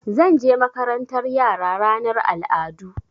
Zan je makarantar yara na ranar al'adu.